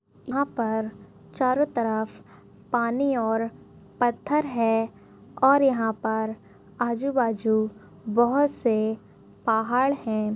यहा पर चारों तरफ पानी और पत्थर है और यहा पर आजुबाजू बहोत से पहाड़ है।